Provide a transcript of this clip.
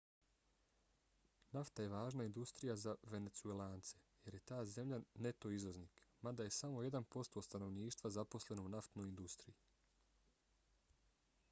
nafta je važna industrija za venecuelance jer je ta zemlja neto izvoznik mada je samo jedan posto stanovništva zaposleno u naftnoj industriji